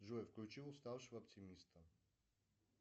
джой включи уставшего оптимиста